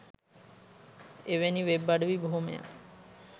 එවැනි වෙබ් අඩවි බොහෝමයක්